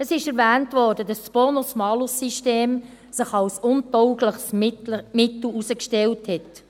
Es wurde erwähnt, dass sich das Bonus-Malus-System als untaugliches Mittel herausgestellt hat.